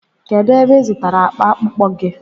Kedụ ebe ị zụtara akpa akpụkpọ gị?